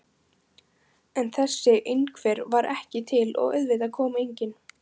En þessi einhver var ekki til og auðvitað kom enginn.